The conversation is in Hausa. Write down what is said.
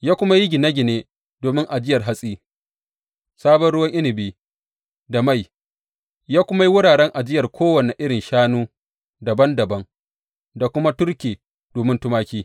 Ya kuma yi gine gine domin ajiyar hatsi, sabon ruwa inabi da mai; ya kuma yi wuraren ajiyar kowane irin shanu dabam dabam, da kuma turke domin tumaki.